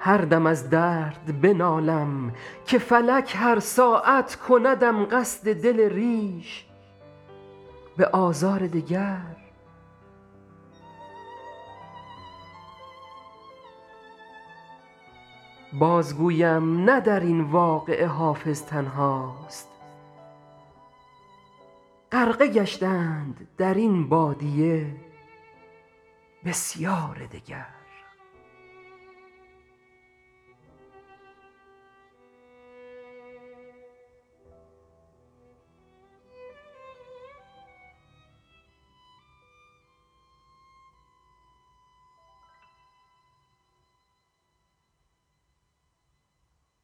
هر دم از درد بنالم که فلک هر ساعت کندم قصد دل ریش به آزار دگر بازگویم نه در این واقعه حافظ تنهاست غرقه گشتند در این بادیه بسیار دگر